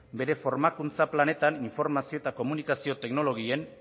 bere formakuntza planetan informazio eta komunikazio teknologien